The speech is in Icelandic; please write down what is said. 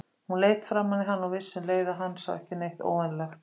Hún leit framan í hann og vissi um leið að hann sá ekki neitt óvenjulegt.